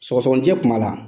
Sɔgɔsɔninɛ tun b'a la?